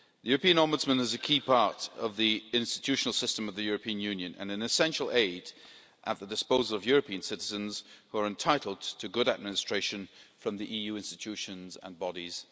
The European Ombudsman is a key part of the institutional system of the European Union and an essential aid at the disposal of European citizens, who are entitled to good administration from the EU institutions and bodies.